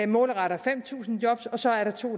målretter fem tusind job og så er der to